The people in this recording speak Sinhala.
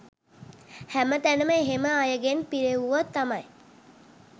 හැම තැනම එහෙම අයගෙන් පිරෙව්වොත් තමයි